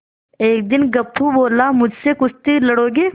एक दिन गप्पू बोला मुझसे कुश्ती लड़ोगे